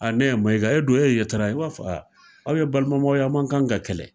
ne Maiga. E dun, e ye Yatara. I b'a fɔ aw ye balimamaw ye, a' man kan ka kɛlɛ.